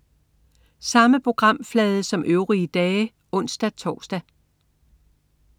Samme programflade som øvrige dage (ons-tors)